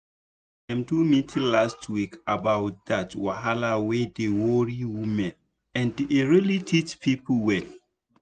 dem do meeting last week about that wahala wey dey worry women and e really teach people well."